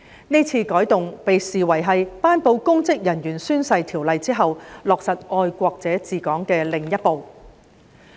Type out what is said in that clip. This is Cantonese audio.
這次改動被視為是在頒布有關公職人員宣誓的條例後，落實"愛國者治港"的另一步。